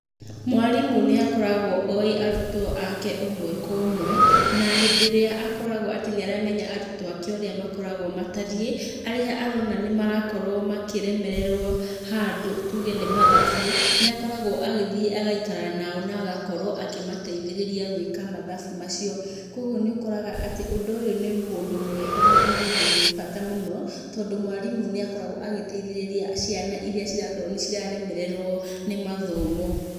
Mwarimũ nĩ akoragwo oĩ arutwo ake ũmwe kwa ũmwe na hĩndĩ ĩrĩa akoragwo atĩ nĩ aramenya arutwo ake ũrĩa makoragwo matariĩ, harĩa arona nĩ marakorwo makĩremererwo handũ tuge nĩ mathabu, nĩ akoragwo agĩthiĩ agaikara nao na agakorwo akĩmateithĩrĩria gũika mathabu macio. Kũguo nĩ ũkoraga atĩ ũndũ ũyũ nĩ mũndũ mwega na nĩ ũndũ wĩ bata mũno tondũ mwarimũ nĩ akoragwo agĩteithĩrĩria ciana iria cirakorwo nĩ ciaremererwo nĩ mathomo.